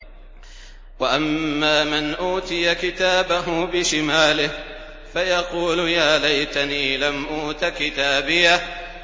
وَأَمَّا مَنْ أُوتِيَ كِتَابَهُ بِشِمَالِهِ فَيَقُولُ يَا لَيْتَنِي لَمْ أُوتَ كِتَابِيَهْ